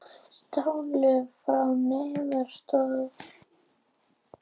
Stálu frá neyðaraðstoð